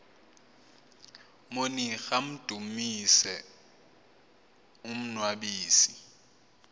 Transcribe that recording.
monira amdumise umnnwabisi